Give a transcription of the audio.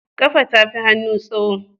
Kafa tafi hannu tsaho